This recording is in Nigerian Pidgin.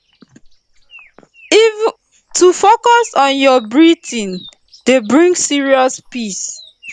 to focus on your breathing dey bring serious peace